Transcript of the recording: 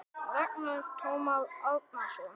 Ragnar Tómas Árnason